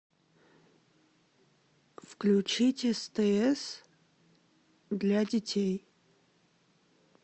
включить стс для детей